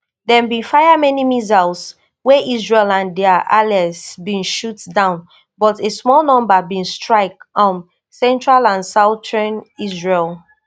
dem bin fire many missiles wey israel and dia allies bin shoot down but a small number bin strike um central and southern israel